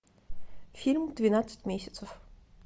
фильм двенадцать месяцев